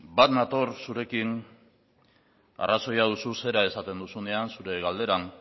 bat nator zurekin arrazoia duzu zera esaten duzunean zure galderan